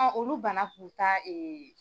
Olu banna k'u ta .